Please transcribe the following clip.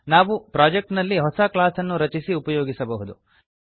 ನಾವು ಪ್ರೊಜೆಕ್ಟ್ ನಲ್ಲಿ ಹೊಸ ಕ್ಲಾಸ್ ಅನ್ನು ರಚಿಸಿ ಉಪಯೋಗಿಸಬಹುದು